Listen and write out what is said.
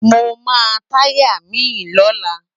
Mó má tàyá mi lólá